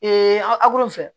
an akulonkɛ fɛ